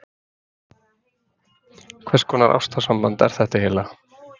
Hvers konar ástarsamband er þetta eiginlega?